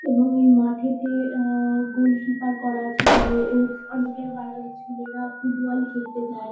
এবং এই মাঠেতে আহ গোলকিপার করা আছে মানে এ অনেকের বাইরের ছেলেরা ফুটবল খেলতে যায়।